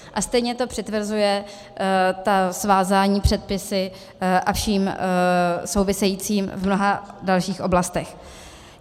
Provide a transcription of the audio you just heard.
A stejně to přitvrzuje, ta svázání předpisy a vším souvisejícím v mnoha dalších oblastech.